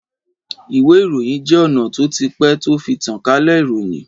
Ìwé ìròyìn je ona tó ti pé tó fi tánkalẹ ìròyìn.